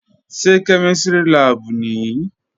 Ṣé kẹ́mísìrì láàbù nìí?